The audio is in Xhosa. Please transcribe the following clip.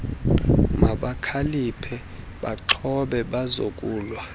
mabakhaliphe baaxhobe bazokulwa